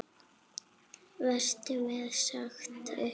Verður mér sagt upp?